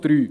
Punkt 3